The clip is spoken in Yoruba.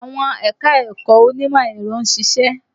Àwọn ẹ̀ka-ẹ̀kọ onímọ̀ ẹ̀rọ ń ṣiṣẹ́